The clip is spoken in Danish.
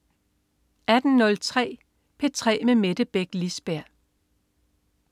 18.03 P3 med Mette Beck Lisberg